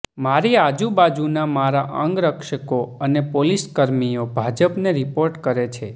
મારી આજુબાજુના મારા અંગરક્ષકો અને પોલીસ કર્મીઓ ભાજપને રિપોર્ટ કરે છે